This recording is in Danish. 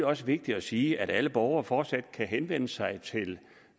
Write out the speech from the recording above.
også vigtigt at sige at alle borgere fortsat kan henvende sig til